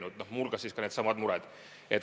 Muu hulgas on neil tõesti tekkinud needsamad mured.